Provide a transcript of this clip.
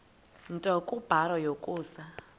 nto kubarrow yokusa